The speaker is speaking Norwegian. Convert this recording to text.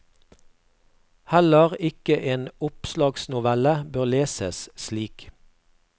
Heller ikke en oppslagsnovelle bør leses slik.